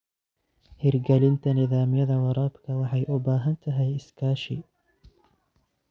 Hirgelinta nidaamyada waraabka waxay u baahan tahay iskaashi.